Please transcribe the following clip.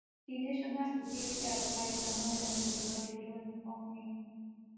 di national security adviser malam nuhu ribadu don informe me